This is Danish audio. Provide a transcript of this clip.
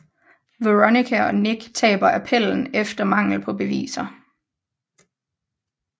Veronica og Nick taber appellen efter manglen på beviser